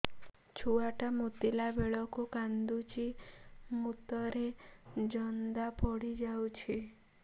ଛୁଆ ଟା ମୁତିଲା ବେଳକୁ କାନ୍ଦୁଚି ମୁତ ରେ ଜନ୍ଦା ପଡ଼ି ଯାଉଛି